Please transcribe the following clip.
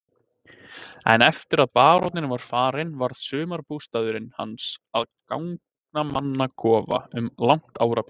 En eftir að baróninn var farinn varð sumarbústaðurinn hans að gangnamannakofa um langt árabil.